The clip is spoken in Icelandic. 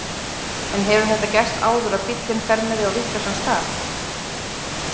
En hefur þetta gerst áður að bíllinn fer með þig á vitlausan stað?